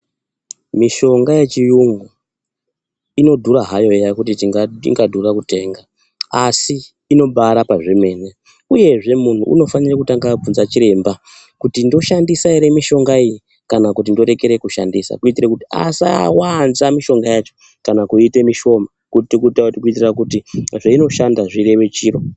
Mishonga yechiyungu inodhura hayo eya kuti ingadhura kutenga asi inobarapa zvemene, uyezve munhu unofanira kutanga abvunza chiremba kuti ndoshandisa ere mishonga iyi kana kuti ndorekere kushandisa kuitira kuti asawanza mishonga yacho kana kuite mishoma kuitire kuti zvainoshanda zvireve chiro.